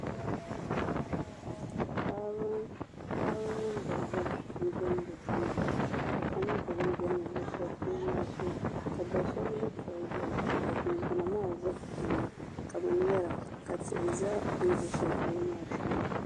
paɣaba mini dabba n-diɛm di diɛma ka kom do bɛ diɛm di luɣ' shɛli polo maa shee ka dabba shɛba ʒe kuɣu zuɣu ka guŋguna maa za bi tooni ka bɛ ŋmera ka tihi za bɛ ʒi shɛli polo maa shee